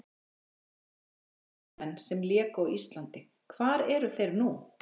Erlendir leikmenn sem léku á Íslandi Hvar eru þeir nú?